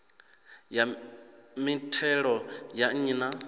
ya mithelo ya nnyi na